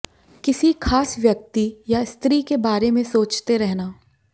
किसी खास व्यक्ति या स्त्री के बारे में सोचते रहना